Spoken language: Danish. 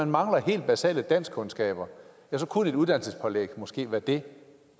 mangler helt basale danskkundskaber kunne et uddannelsespålæg måske være det